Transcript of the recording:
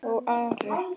Og Ari?